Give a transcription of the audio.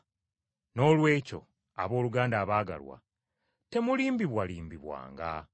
Noolwekyo, abooluganda abaagalwa, temulimbibwalimbibwanga.